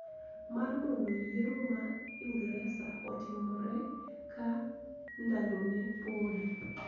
Mar mondo yiero ma Ingresa otimre ka ndalone podi